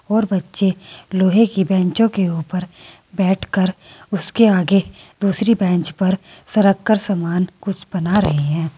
और बच्चे लोहे की बेचों के ऊपर बैठ कर उसके आगे दूसरी बेंच पर सरक कर सामान कुछ बना रहे हैं।